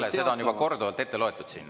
Hea Kalle, seda on juba korduvalt siin ette loetud.